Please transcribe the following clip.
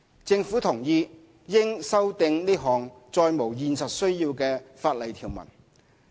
政府同意應修訂此項再無現實需要的法例條文。